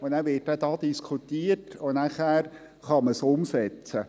Anschliessend wird dieser hier diskutiert, und danach kann man es umsetzen.